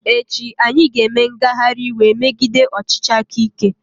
Ee echi, anyị ga-eme ngagharị iwe megide ọchịchị aka ike.